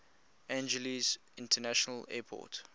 angeles international airport